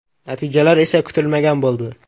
Natijalar esa kutilmagan bo‘ldi.